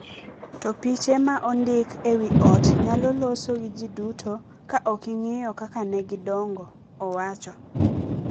to piche ma ondiki e wi ot nyalo loso gi ji duto ka ok ing’iyo kaka ne gidongo, owacho.